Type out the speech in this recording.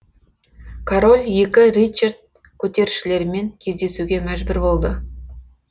король екі ричард көтерілісшілермен кездесуге мәжбүр болды